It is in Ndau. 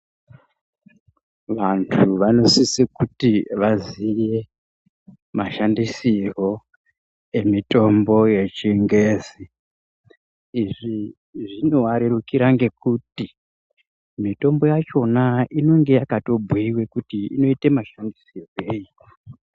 Vantu vanosise kuti vaziye mashandisirwo emitombo yechingezi. Izvi zvinova rerukira ngekuti mitombo yachona inenge yakatobhuiwe kuti inoite mashandisirwei.